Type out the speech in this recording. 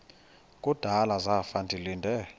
kudala zafa ndilinde